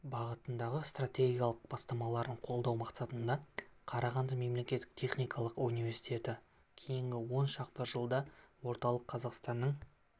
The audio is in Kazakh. бағытындағы стратегиялық бастамаларын қолдау мақсатында қарағанды мемлекеттік техникалық университеті кейінгі он шақты жылда орталық қазақстанның